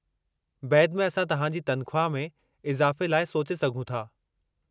बैदि में असां तहां जी तनख़्वाह में इज़ाफ़े लाइ सोचे सघूं था।